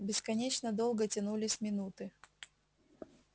бесконечно долго тянулись минуты